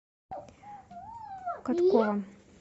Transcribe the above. коткова